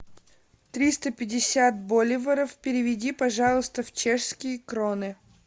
триста пятьдесят боливаров переведи пожалуйста в чешские кроны